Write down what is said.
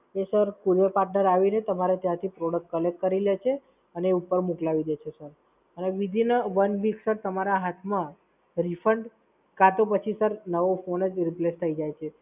એ Sir Courier Partner આવીને ત્યાંથી Product કરી લે છે અને ઉપર મોકલાવી દે છે Sir. અને વિધીન અ વન વીક તમારા હાથમાં Refund કાં તો પછી sir નવો ફોન જ Replace થઈ જાય છે.